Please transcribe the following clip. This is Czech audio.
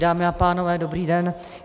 Dámy a pánové, dobrý den.